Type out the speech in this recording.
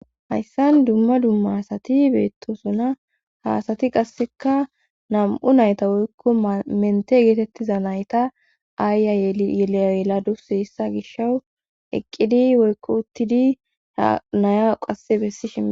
Hayssan dumma dumma asati beettosuna haasati qasseka nam7u nayta woykko mente geetettiza nayta aayya yeleyladus hissa gishawu eqqidi woykko uttidi ra naya qasse bessishia